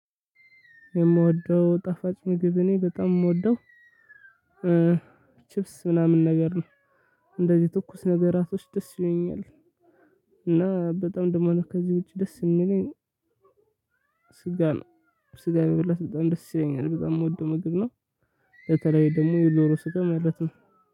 የምወደው ጣፋጭ ምግብ እኔ በጣም የምወደው ችብስ ምናምን ነገር ነው። እንደዚህ ትኩስ ነገራቶች ደስ ይሉኛል። እና በጣም ደግሞ ከዚህ ውጪ ደስ የሚለኝ። ስጋ ነው። ስጋ መብላት በጣም ደስ ይለኛል በጣም የምወደው ምግብ ነው። በተለይ ደግሞ የዶሮ ስጋ ማለት ነው